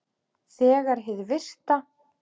Þegar hið virta